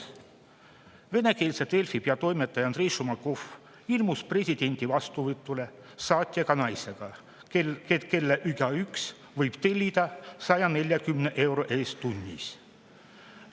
" Kolmas: "Venekeelse Delfi peatoimetaja Andrei Šumakov ilmus presidendi vastuvõtule saatjaga naisega, kelle igaüks võib tellida 140 euro eest tunnis.